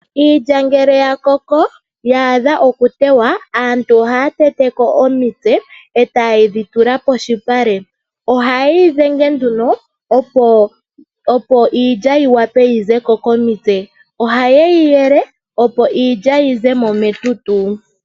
Iilya ngele ya koko ya adha oku tewa aantu ohaya teteko omitse ehaye yi tula poshipale. Ohaayi dhenge nduno opo iilya yi zeko komitse. Ohayeyi yele opo iilya yizemo metutu.